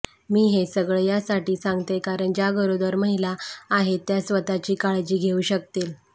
मी हे सगळं यासाठी सांगतेय कारण ज्या गरोदर महिला आहेत त्या स्वतःची काळजी घेऊ शकतील